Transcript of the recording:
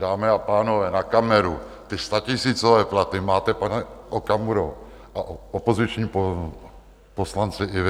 Dámy a pánové, na kameru, ty statisícové platy máte, pane Okamuro a opoziční poslanci, i vy.